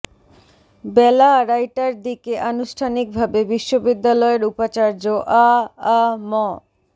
বেলা আড়াইটার দিকে আনুষ্ঠানিকভাবে বিশ্ববিদ্যালয়ের উপাচার্য আ আ ম